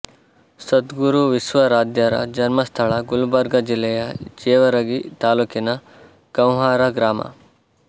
ಸದ್ಗುರು ವಿಶ್ವಾರಾಧ್ಯರ ಜನ್ಮಸ್ಥಳ ಗುಲ್ಬರ್ಗಾ ಜಿಲ್ಲೆಯ ಜೇವರಗಿ ತಾಲೂಕಿನ ಗಂವ್ಹಾರ ಗ್ರಾಮ